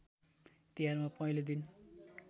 तिहारमा पहिलो दिन